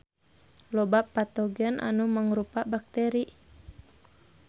Loba patogen anu mangrupa bakteri.